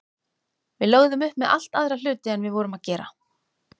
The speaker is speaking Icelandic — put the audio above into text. Við lögðum upp með allt aðra hluti en við vorum að gera.